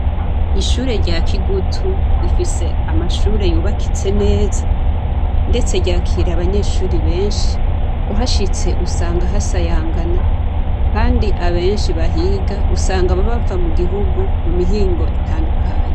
Ishure rya kigutu rifise amashure yubakitse neza, ndetse ryakira abanyeshuri benshi uhashitse usanga hasayangana, kandi abenshi bahiga usanga babava mu gihugu mu mihingo itandukanye.